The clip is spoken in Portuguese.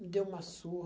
Me deu uma surra.